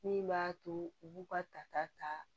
Min b'a to u b'u ka tata ta